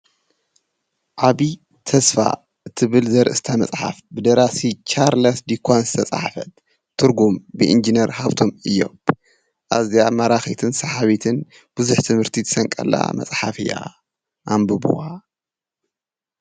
ዓቢ ተስፋ እቲ ብል ዘርእስታ መጽሓፍ ብደራሲ ጫርለስ ዲኳን ዝተጸሕፈት ትርጉም ብኢንጀነር ሃብቶም ኢዮብ እዚኣብ መራኺትን ሰሓቢትን ብዙኅ ትምህርቲ ትሰንቀላ መጽሓፍ እያ ።